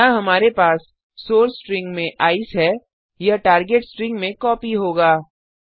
यहाँ हमारे पास सोर्स स्ट्रिंग में ईसीई है यह टार्गेट स्ट्रिंग में कॉपी होगा